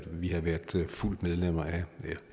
vi havde været fuldt medlem af